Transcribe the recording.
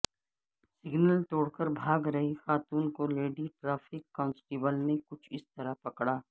signal توڑ کر بھاگ رہی خاتون کو لیڈی ٹریفک کانسٹیبل نے کچھ اسطرح پکڑا